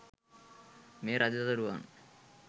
මේ රජ දරුවන්